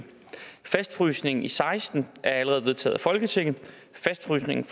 fastfrysningen i seksten er allerede vedtaget af folketinget fastfrysningen